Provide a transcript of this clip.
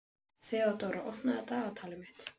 Þeódóra, opnaðu dagatalið mitt.